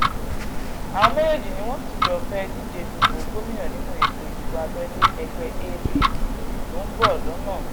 àwọn méjèèjì ni wọ́n sì jọ fẹ́ẹ́ díje dupò gómìnà nínú ètò ìdìbò abẹ́lé ẹgbẹ́ apc tó ń bọ̀ lọ́nà